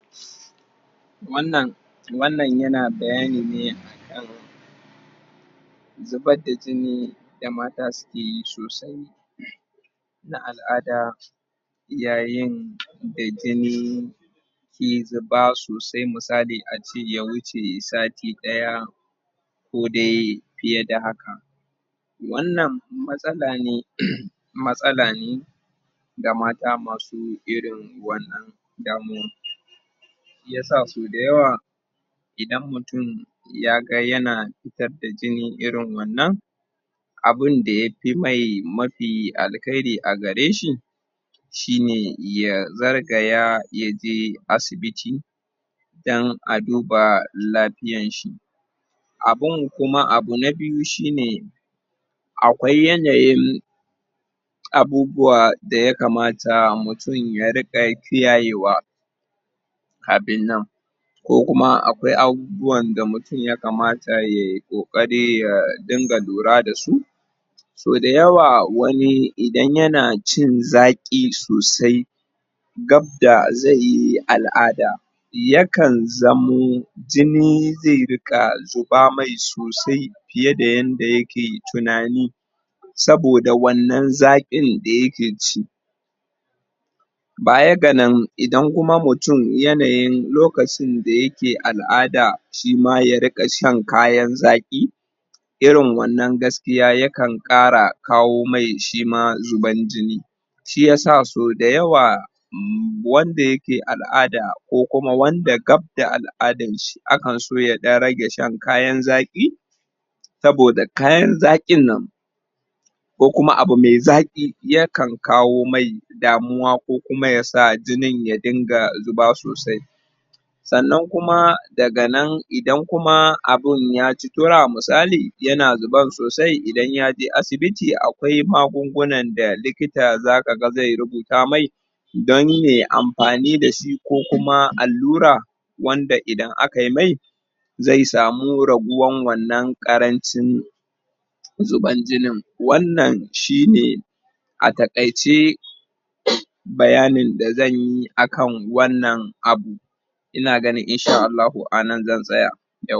wannan wannan yana bayani ne akan zubar da jini da mata sukeyi sosai? na al'ada yayin da jini ke zuba sosai misali ace ya wuce sati daya ko dai fiye da haka wannan matsala ne matsala ne ga mata masu irin wannan damuwan shiyasa so da yawa idan mutum ya ga yana fitar da jini irin wannan abunda ye fi mai mafi alkhairi agareshi shine ya zargaya yaje asibtii dan a duba lafiyanshi abun kuma abu na biyu shine akwai yanayin abubuwa da ya kamata mutum ya riqa yi kiyayewa kafin nan kom kuma akwai abubuwan da mutum mutum ya kamata ye ye kokari ya dunga lura dasu so da yawa wani idan yana ci zaqi sosai gab da zai yi al'ada ya kan zamo jini zai riqa zuba mai sosai fiye da yadda yake tunani saboda wannan zaqin da yake ci baya ga nan idan kuma mutum yanayin lokacin da yake al'ada shima ya riqa shan kayan zaqi irin wannan gaskiya ya kan kara kawo mai shima zuban jini shiyasa sau da yawa wanda yake al'ada ko kuma wanda gab da al'adanshi akan so ya dan rage shan kayan zaqi saboda kayan zaqin nan ko kuma abu me zaqi ya kan kawo mai damuwa ko kuma ya sa jinin ya dunga zuba sosai sannan kuma daga nan idan kuma abun ya ci tura misali yana zuban sosai idan yaje asibiti akwai magungunan da likita za ka ga zai rubuta mai don ye amfani dashi ko kuma allura wanda idan akai mai zai samu raguwan wannan karancin zuban jinin wannan shine a takaice?? bayanin da zanyi akan wannan abu ina ganin in sha Allahu anan zan tsaya yau